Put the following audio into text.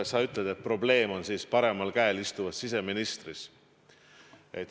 Sa ütled, et probleem on minu paremal käel istuvas siseministris.